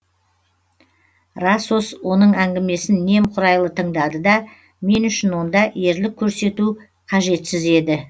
расос оның әңгімесін немқұрайлы тыңдады да мен үшін онда ерлік көрсету қажетсіз еді